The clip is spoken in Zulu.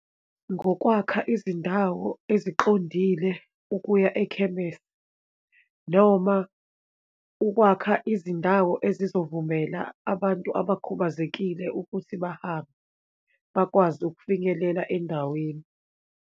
Ngokwakha izindawo eziqondile ukuya ekhemese, noma ukwakha izindawo ezizovumela abantu abakhubazekile ukuthi bahambe, bakwazi ukufinyelela endaweni.